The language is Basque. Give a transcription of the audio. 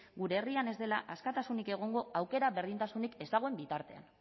gure herrian ez dela askatasunik egongo aukera berdintasunik ez dagoen bitartean